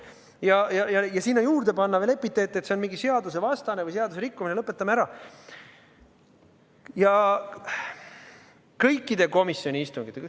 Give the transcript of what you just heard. Ja panna sinna juurde veel epiteete, et see on mingil moel seadusvastane või seaduse rikkumine – lõpetame ära!